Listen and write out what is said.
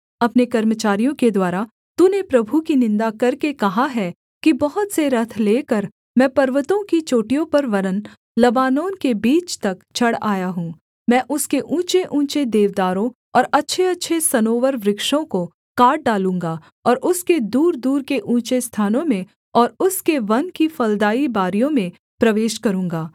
अपने कर्मचारियों के द्वारा तूने प्रभु की निन्दा करके कहा है कि बहुत से रथ लेकर मैं पर्वतों की चोटियों पर वरन् लबानोन के बीच तक चढ़ आया हूँ मैं उसके ऊँचेऊँचे देवदारों और अच्छेअच्छे सनोवर वृक्षों को काट डालूँगा और उसके दूरदूर के ऊँचे स्थानों में और उसके वन की फलदाई बारियों में प्रवेश करूँगा